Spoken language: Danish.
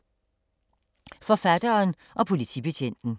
Forfatteren og politibetjenten